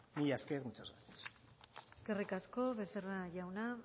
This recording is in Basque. mila esker muchas gracias eskerrik asko becerra jauna